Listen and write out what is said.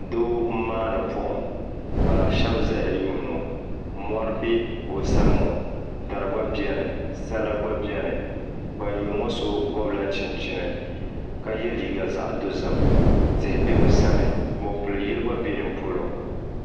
Doo m-maani buɣim ka shɛba zaya n-nyuuni o mɔri beni ka dari beni sala gba beni ban lihiri o ŋɔ so gɔbila chinchini ka ye liiga zaɣ' dɔzim tihi be bɛ sani mɔpil' yili gba be bɛ sani